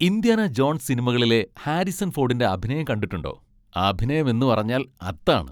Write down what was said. Indiana Jones സിനിമകളിലെ Harrison ഫോഡിൻ്റെ അഭിനയം കണ്ടിട്ടുണ്ടോ? അഭിനയം എന്ന് പറഞ്ഞാൽ അതാണ്.